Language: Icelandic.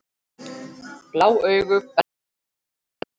Blá augu, bernska og töfrar